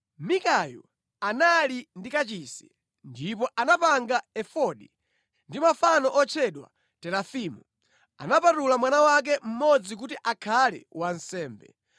Mikayu anali ndi kachisi, ndipo anapanga efodi ndi mafano otchedwa terafimu. Anapatula mwana wake mmodzi kuti akhale wansembe.